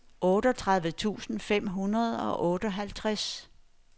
otteogtredive tusind fem hundrede og otteoghalvtreds